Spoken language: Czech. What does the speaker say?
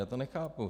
Já to nechápu.